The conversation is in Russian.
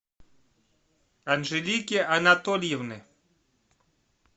анжелики анатольевны